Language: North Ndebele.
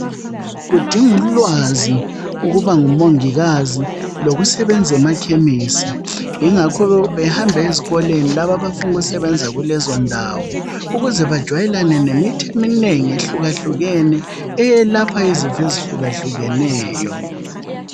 Kudinga ulwazi ukuba nguMongikazi lokusebenza emakhemisi, ingakho behamba ezikolweni labo abafuna ukusebenza kulezondawo ukuze bajayele nemithi eminengi elapha izifo ezihlukahlukeneyo.